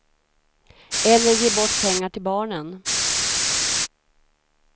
Eller ge bort pengar till barnen.